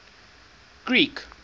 greek